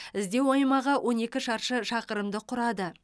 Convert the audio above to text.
іздеу аймағы он екі шаршы шақырымды құрады